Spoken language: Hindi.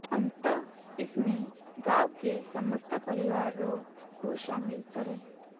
अतः इसमें गांव के समस्त परिवारों को शामिल करें